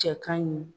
Cɛ ka ɲi